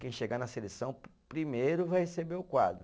Quem chegar na seleção primeiro vai receber o quadro.